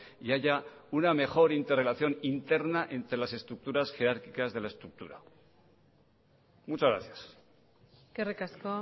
y haya una mejor interrelación interna entre las estructuras jerárquicas de la estructura muchas gracias eskerrik asko